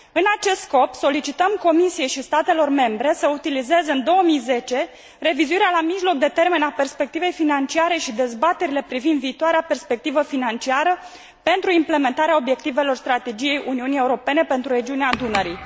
În acest scop, solicităm Comisiei și statelor membre să utilizeze în 2010 revizuirea la mijloc de termen a perspectivei financiare și dezbaterile privind viitoarea perspectivă financiară pentru implementarea obiectivelor strategiei Uniunii Europene pentru regiunea Dunării.